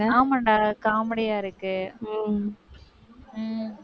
ஆமான்டா comedy யா இருக்கு உம் உம்